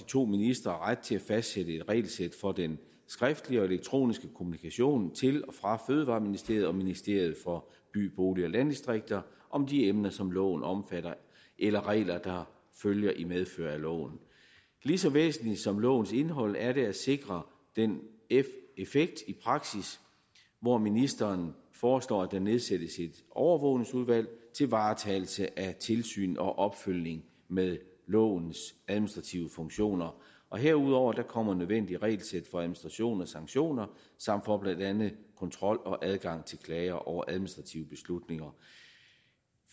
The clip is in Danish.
to ministre ret til at fastsætte et regelsæt for den skriftlige og elektroniske kommunikation til og fra fødevareministeriet og ministeriet for by bolig og landdistrikter om de emner som loven omfatter eller regler der følger i medfør af loven lige så væsentligt som lovens indhold er det at sikre den effekt i praksis hvor ministeren foreslår at der nedsættes et overvågningsudvalg til varetagelse af tilsyn og opfølgning med lovens administrative funktioner herudover kommer nødvendige regelsæt for administration og sanktioner samt for blandt andet kontrol og adgang til klage over administrative beslutninger